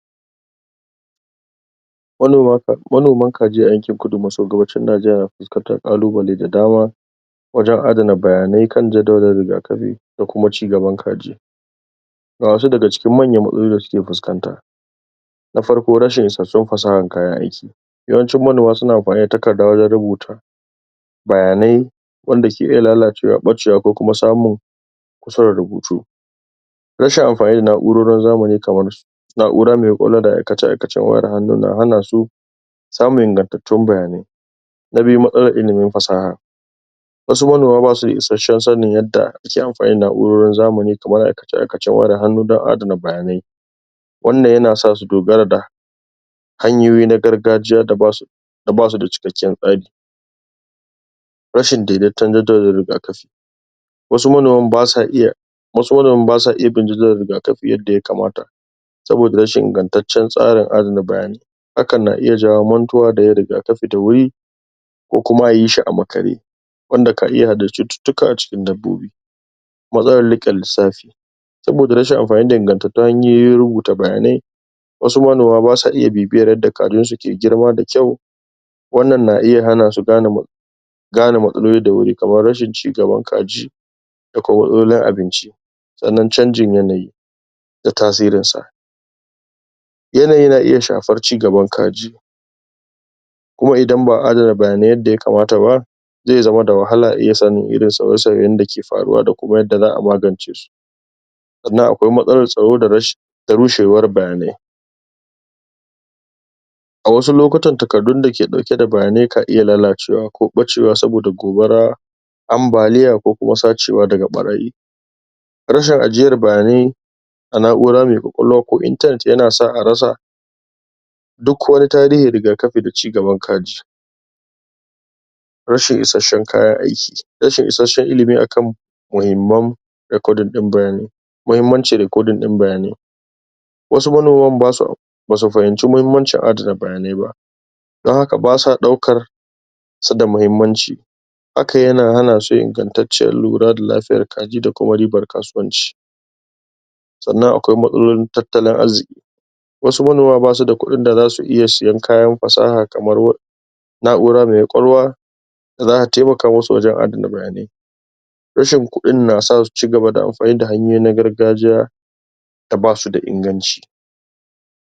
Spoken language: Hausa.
Manoman Kaji a yankin Kudu masu Gabashin Najeriya nafuskantar ƙalubalai da dama, wajen adana bayanai kan jadawalin da akabi da kuma ci gaban kaji. Ga wasu daga cikin manyan matsalolin da suke fuskanta: Na Farko Rashin Isassun Fasahar kayan Aiki. Yawan manoma suna amfani da takadda wajen rubuta bayanai wanda ke iya lalacewa, ɓacewa ko kuma samun kuskuren rubutu. Rashin amfani da na'urorin zamani kamar su na'ura me ƙwaƙwalwa da aikace-aikacen wayar hannu nahana su samun ingantattun bayanai. Na Biyu:Matsalar Ilimin Fasaha. Wasu manoma ba su da issashen sanin yadda ake amfani da na'urorin zamani kamar aikace-aikacen wayar hannu don adana bayanai. wannan yana sa su dogara ga hanyoyi na gargajiya da basu da cikakken tsari. Rashin Daideton Jaddada Rigafi. Wasu manoman ba su iya, wasu manoman ba su iya bin jidilar rigakafi yadda ya kamata, saboda rashin ingantaccen tsarin adana bayanai. Hakan na iya jawo mantuwa da yin rigakafi da wuri, ko kuma ayi shi a makare wanda ka iya haddasa cututtuka a cikin dabbobi. Matsalar Riƙe Lissafi. Saboda rashin amfani da ingantattun hanyoyin rubuta bayanai, wasu manoma basu iya bibiyar yadda kajin su ke girma da kyau wanan na iya hana su gane gane matsaloli da wuri kamar rashin ci gaban kaji da kuma matsalolin abinci. Sannan Canjin Yanayi da Tasirinsa. Yanayi na iya shafar cigaban kaji kuma idan ba'a adana bayanai yadda ya kamata ba, zai zama da wahala a iya sanin irin sauye-sauyen da ke faruwa da kuma yadda za'a magance su. Sannan akwai Matsalar Tsaro da Rushewar Bayanai. A wasu lokutan takaddun dake ɗauke da bayanai ka iya lalacewa ko ɓacewa saboda gobara, ambaliya ko kuma sacewa daga ɓarayi. Rashin ajiyar bayanai, a na'ura mai ƙwaƙwalwa ko internet, yana sa a rasa duk wani tarihin rigakafi da ci gaban kaji. Rashin Isasshen Kayan Aiki. Rashin isasshen ilimi akan muhimman recording ɗin bayani. Mahimmancin Recording ɗin Bayanai. Wasu manoman basu basu fahimci muhimmanci ajiye bayanai don haka ba sa ɗaukar su da muhimmanci, hakan yana hana su ingantacciyar lura da lafiyar kaji da kuma ribar kasuwanci. Sannan Akwai Matsalolin Tattalin Arziƙi. Wasu manoma ba su da kuɗin da za su iya sayen kayan fasaha kamar na'ura mai ƙwaƙwalwa, da za ta taimaka musu wajen adana bayanai. Rashin kuɗin na sa su ci gaba daamfani da hanayoyi na gargajiya da ba su da inganci.